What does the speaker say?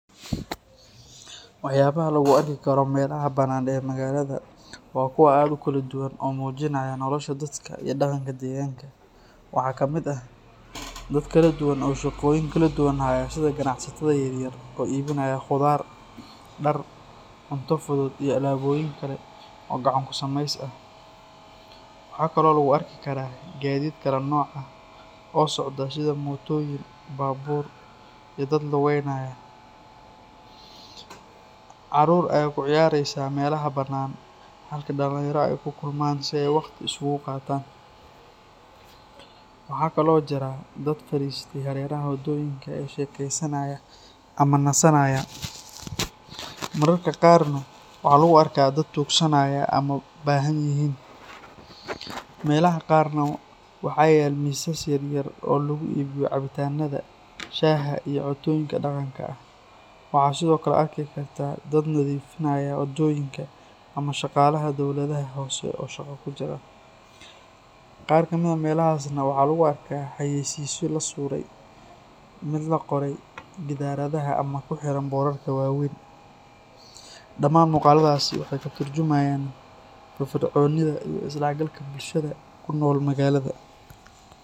Waxyaabaha lagu arki karo meelaha bannaan ee magaalada waa kuwo aad u kala duwan oo muujinaya nolosha dadka iyo dhaqanka deegaanka. Waxaa ka mid ah dad kala duwan oo shaqooyin kala duwan haya sida ganacsatada yar yar oo iibinaya khudaar, dhar, cunto fudud iyo alaabooyin kale oo gacan-ku-samays ah. Waxa kale oo lagu arki karaa gaadiid kala nooc ah oo socda sida mootooyin, baabuur iyo dad lugeynaya. Carruur ayaa ku ciyaaraysa meelaha bannaan halka dhalinyaro ay ku kulmayaan si ay waqti isugu qaataan. Waxaa kale oo jira dad fariistay hareeraha waddooyinka oo sheekeysanaya ama nasanaya. Mararka qaarna waxaa lagu arkaa dad tuugsanaya ama baahanyihiin. Meelaha qaarna waxaa yaal miisas yar yar oo lagu iibiyo cabitaanada, shaaha iyo cuntooyinka dhaqanka ah. Waxa sidoo kale arki kartaa dad nadiifinaya waddooyinka ama shaqaalaha dawladaha hoose oo shaqo ku jira. Qaar ka mid ah meelahaasna waxaa lagu arkaa xayeysiisyo la suray, mid la qoray gidaarada ama ku xiran boorarka waaweyn. Dhamaan muuqaaladaasi waxay ka tarjumayaan firfircoonida iyo is dhexgalka bulshada ku nool magaalada.